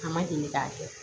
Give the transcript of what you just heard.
A ma deli k'a kɛ